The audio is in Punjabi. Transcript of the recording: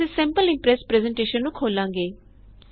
ਅਸੀਂ ਸੈਂਪਲ ਇੰਪ੍ਰੈਸ ਪਰੈੱਜ਼ਨਟੇਸ਼ਨ ਨੂੰ ਖੋਲਾਂਗੇ